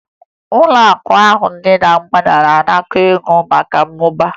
Ụlọakụ ahụ dị na mgbada na-anakọ ego maka mmụba